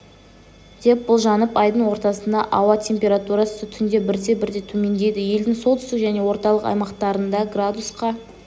деп болжанып айдың ортасында ауа температурасы түнде бірте-бірте төмендейді елдің солтүстік және орталық аймақтарында градусқа